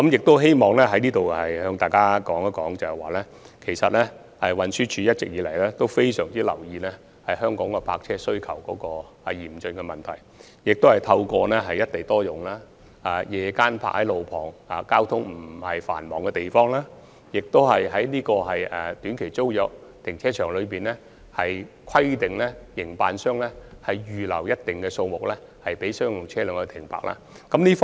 我希望在此向大家指出，運輸署一直非常留意香港泊車位需求嚴峻的問題，亦透過"一地多用"的原則，在路旁、交通不太繁忙的地方劃設夜間泊車位，並規定短期租約停車場的營辦商，預留一定數目的停車位予商用車輛停泊。